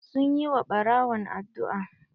Sun yi wa ɓarawon addu'a.